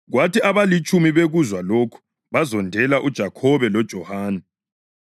Kwathi abalitshumi bekuzwa lokhu bazondela uJakhobe loJohane.